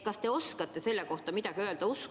Kas te oskate selle kohta midagi öelda?